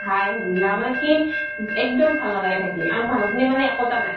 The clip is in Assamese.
হাই হুলা মানে কি এক্দম ভাল নালাগে থাকি আৰু মানুহ খিনি মনে একোতা নাই